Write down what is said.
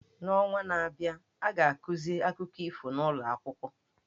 N’ọnwa na-abịa, a ga-akụzi akụkọ ifo n’ụlọ akwụkwọ.